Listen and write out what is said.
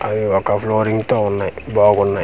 అవి ఒక ఫ్లోరింగ్ తో వున్నాయి బాగున్నాయి.